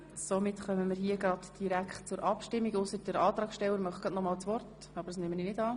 Somit kommen wir direkt zur Abstimmung, es sei denn, der Antragsteller wünsche das Wort nochmals, wovon ich nicht ausgehe.